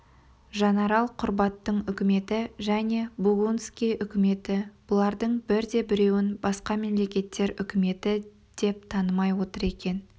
жанарал құрбаттың үкіметі және бугунскийдің үкіметі бұлардың бірде-біреуін басқа мемлекеттер үкіметі деп танымай отыр екен